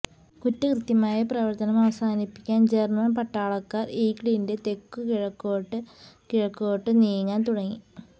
കുറ്റകൃത്യമായ പ്രവർത്തനം അവസാനിപ്പിക്കാൻ ജർമ്മൻ പട്ടാളക്കാർ ഈഗിളിന്റെ തെക്കു കിഴക്കോട്ട് കിഴക്കോട്ടു നീങ്ങാൻ തുടങ്ങി